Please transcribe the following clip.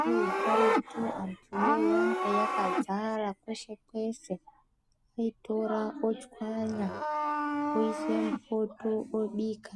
Tombo yekaretu anyu yanga yakadzara kwese kwese oitora ochwanya oise mupoto obika